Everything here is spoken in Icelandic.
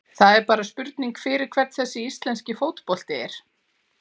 Það er bara spurning fyrir hvern þessi íslenski fótbolti er?